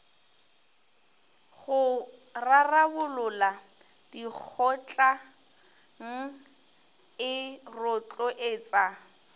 go rarabolola dikgotlang e rotloetsa